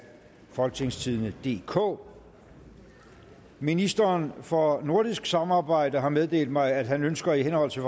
folketingstidende DK ministeren for nordisk samarbejde har meddelt mig at han ønsker i henhold til